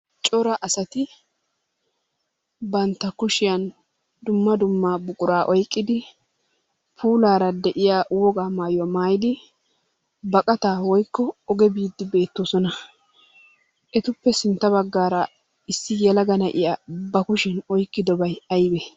Cora asati bantta kushiyan dumma dumma buquraa oyqqidi puulaara de'iya wogaa mayuwa mayidi baqataa woyikko oge biiddi beettoosona. Etuppe sintta baggaara issi yelaga na'iya ba kushiyan oykkidobay ayibee?